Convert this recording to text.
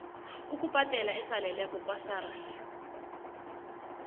ukubhadela esaleleko kwasars